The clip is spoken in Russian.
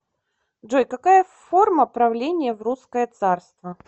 джой какая форма правления в русское царство